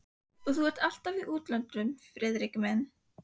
Og þú ert alltaf í útlöndum, Friðrik minn